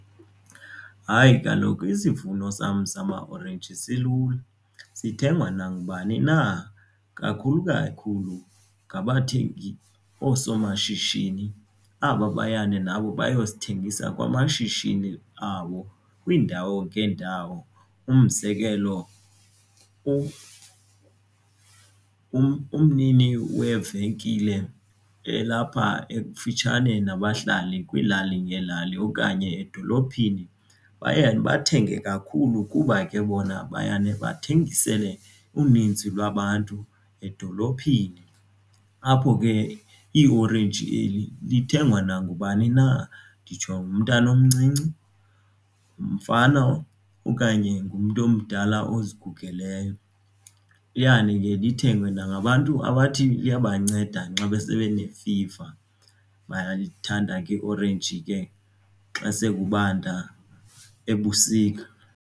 Hayi, kaloku isivuno sam samaorenji silula sithengwa nangubani na kakhulu kakhulu ngabathengi oosomashishini aba bayana nabo bayosithengisa kwamashishini abo kwiindawo ngeendawo. Umzekelo umnini wevenkile elapha ekufitshane nabahlali kwiilali ngeelali okanye edolophini bayane bathenge kakhulu kuba ke bona bayane bathengisele uninzi lwabantu edolophini. Apho ke iorenji eli zithengwa nangubani na nditsho ngumntana omncinci ngumfana okanye ngumntu omdala ozigugeleyo. Iyane ke ithengwe nangabantu abathi liyabanceda nxa besebenefiva bayalithanda ke iorenji ke xa sekubanda ebusika.